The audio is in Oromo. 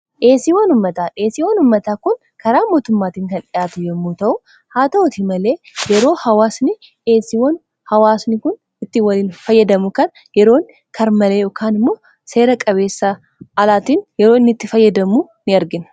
dheesii wanummataa dheesii wanummataa kun karaa mootummaatiin kan dhi'aatu yommuu ta'u haa ta'uti malee yeroo hawaasni dheesiiwwan hawaasni kun itti waliin fayyadamu kan yeroon karmalee dhokaan immoo seera qabeessa alaatiin yeroon itti fayyadamu in argin